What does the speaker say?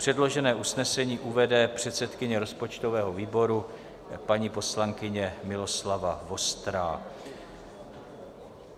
Předložené usnesení uvede předsedkyně rozpočtového výboru, paní poslankyně Miloslava Vostrá.